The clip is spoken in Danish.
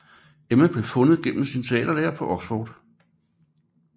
Emma blev fundet gennem sin teaterlærer på Oxford